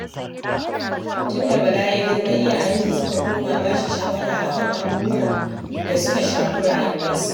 Tunda Bala ya girma iyayensa suka koma ba shi shawara a kan abubuwan da suka shafi rayuwarsa